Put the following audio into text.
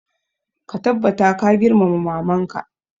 Ka tabbata ka girmama maman ka!